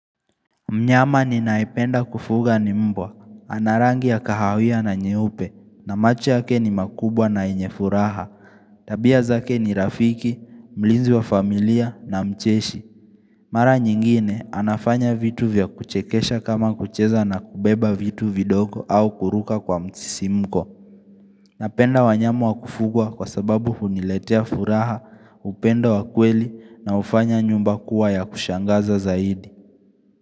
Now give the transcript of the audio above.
Mnyama ninayependa kufuga ni mbwa. Ana rangi ya kahawia na nyeupe na machobyake ni makubwa na yenye furaha. Tabia zake ni rafiki, mlinzi wa familia na mcheshi. Mara nyingine, anafanya vitu vya kuchekesha kama kucheza na kubeba vitu vidogo au kuruka kwa msisimko. Napenda wanyama wa kufugwa kwa sababu huniletea furaha, upendo wa kweli na hufanya nyumba kuwa ya kushangaza zaidi.